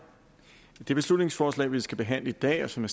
det beslutningsforslag vi skal behandle i dag og som